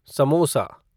samosa